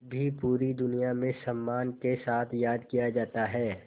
भी पूरी दुनिया में सम्मान के साथ याद किया जाता है